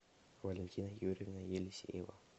валентина юрьевна елисеева